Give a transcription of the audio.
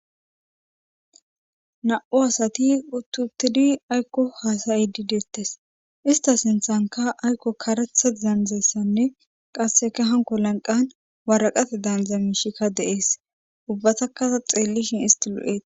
Na'u asati uttutidi aykko haasayi di deettes ista sinthanka aykko karetha zaanzessanne qasseka hanko lanqan waraqate daandza mishikka de7ees ubbatakaa xeellishin isti lu'et